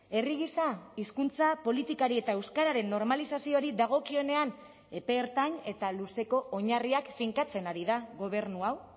herri gisa hizkuntza politikari eta euskararen normalizazioari dagokionean epe ertain eta luzeko oinarriak finkatzen ari da gobernu hau